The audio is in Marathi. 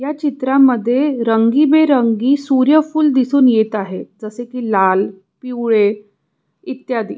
ह्या चित्रामध्ये रंगीबेरंगी सूर्य फूल दिसून येत आहे जसेकी लाल पिवळे इत्यादि.